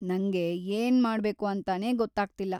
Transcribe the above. ನಂಗೆ ಏನ್ಮಾಡ್ಬೇಕು ಅಂತಾನೆ ಗೊತ್ತಾಗ್ತಿಲ್ಲ.